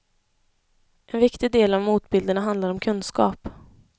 En viktig del av motbilderna handlar om kunskap.